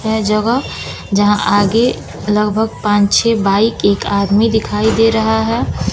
है जगह यहां आगे लगभग पांच छह बाइक एक आदमी दिखाई दे रहा है।